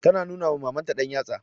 Tana nuna ma Mamanta ɗanyatsa.